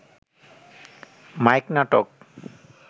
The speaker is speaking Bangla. মাইক নাটক